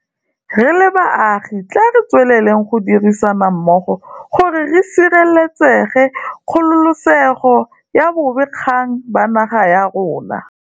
Re le baagi, tla re tsweleleng go dirisana mmogo gore re sireletse kgololesego ya bobe gakgang ba naga ya rona.